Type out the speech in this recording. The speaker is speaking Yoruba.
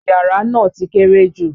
Yàrà ná ti kéré jú.